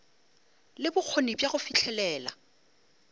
le bokgoni bja go fihlelela